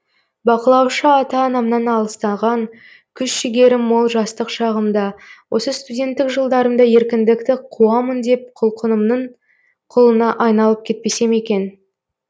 бақылаушы ата анамнан алыстаған күш жігерім мол жастық шағымда осы студенттік жылдарымда еркіндікті қуамын деп құлқынымның құлына айналып кетпесем екен